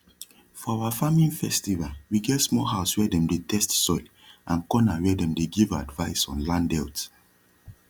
for our farming festival we get small house wia dem dey test soil and corner wia dem dey give advice on land health